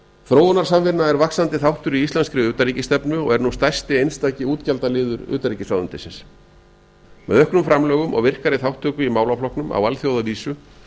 þróunarsamvinna er vaxandi þáttur í íslenskri utanríkisstefnu og er nú stærsti eisntki þáttur utnaríkisráðuneytinsins með auknum framlögum og virkari þátttöku í málaflokknum á alþjóðavísu